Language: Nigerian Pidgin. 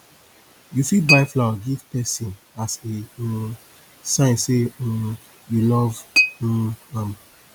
you fit buy flower give person as a um sign sey um you love um am